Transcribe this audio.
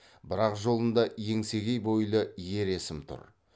бірақ жолында еңсегей бойлы ер есім тұр